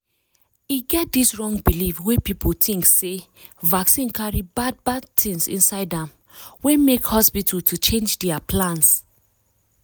e get dis wrong believe wey people think sey vaccine carry bad bad things inside amwey make hospital to change their plans.